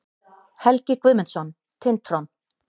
Helgi Guðmundsson, Tintron.